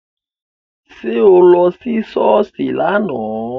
Ṣé o lọ sí Sọ́ọ́sì láánaà?